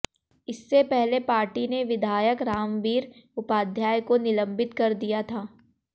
इससे पहले पार्टी ने विधायक रामबीर उपाध्याय को निलंबित कर दिया था